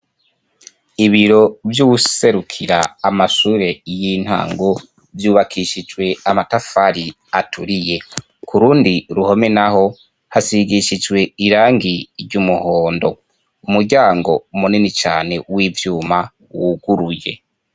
ibiro vy'userukira amashure y'intango vyubakishijwe amatafari aturiye kurundi ruhome naho hasigishijwe irangi ry'umuhondo umuryango munini cane w'ivyuma wuguruye.